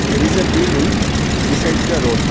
there is a building besides the road.